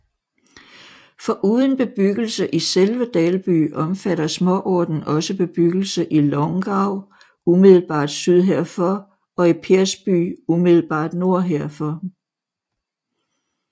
Foruden bebyggelse i selve Dalby omfatter småorten også bebyggelse i Långav umiddelbart syd herfor og i Persby umiddelbart nord herfor